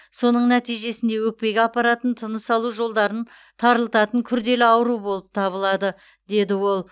соның нәтижесінде өкпеге апаратын тыныс алу жолдарын тарылтатын күрделі ауру болып табылады деді ол